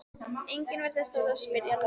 Enginn virtist þora að spyrja Lúlla.